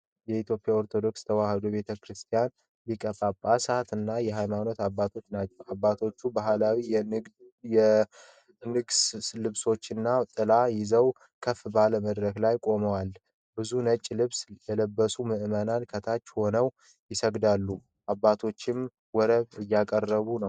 የኢትዮጵያ ኦርቶዶክስ ተዋሕዶ ቤተ ክርስቲያን ሊቃነ ጳጳሳትና የሃይማኖት አባቶችን ናቸው። አባቶቹ ባህላዊ የንግሥ ልብሶችንና ጥላዎችን ይዘው ከፍ ባለ መድረክ ላይ ቆመዋል። ብዙ ነጭ ልብስ የለበሱ ምእመናን ከታች ሆነው ይሰግዳሉ። አባቶችም ወረብ እያቀረቡ ነው።